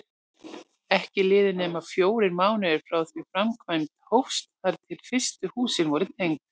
Ekki liðu nema fjórir mánuðir frá því framkvæmd hófst þar til fyrstu húsin voru tengd.